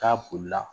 K'a bolila